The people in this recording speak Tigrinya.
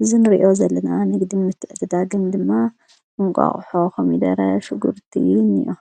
አዚ ንርእዮ ዘለና ንግድን ምትዕድዳግን ድማ እንቋቁሖ ፣ኮሚደረ፣ ሽጕርትን እኒአ፡፡